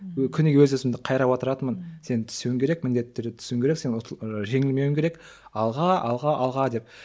күніге өз өзімді қайрап отыратынмын сен түсуің керек міндетті түрде түсуің керек сен жеңілмеуің керек алға алға алға деп